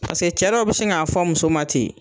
cɛ dɔw bi sin k'a fɔ muso ma ten.